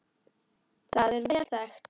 Það er vel þekkt.